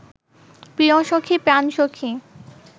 প্রিয়সখী প্রাণসখী